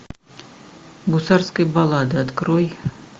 гусарская баллада открой